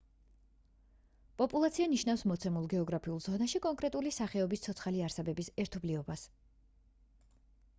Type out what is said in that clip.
პოპულაცია ნიშნავს მოცემულ გეოგრაფიულ ზონაში კონკრეტული სახეობის ცოცხალი არსებების ერთობლიობას